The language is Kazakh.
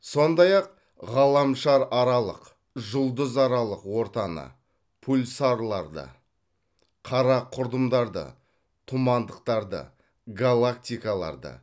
сондай ақ ғаламшараралық жұлдызаралық ортаны пульсарларды қара құрдымдарды тұмандықтарды галактикаларды